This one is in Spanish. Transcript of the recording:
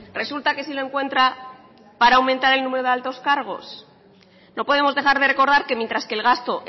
resulta que sí lo encuentra para aumentar el número de altos cargos no podemos dejar de recordar que mientras que el gasto